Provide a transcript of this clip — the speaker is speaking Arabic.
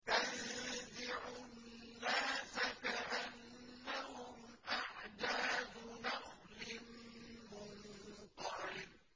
تَنزِعُ النَّاسَ كَأَنَّهُمْ أَعْجَازُ نَخْلٍ مُّنقَعِرٍ